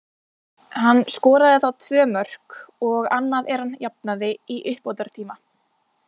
Hann skoraði þá tvö mörk, og annað er hann jafnaði í uppbótartíma.